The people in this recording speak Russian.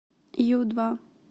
ю два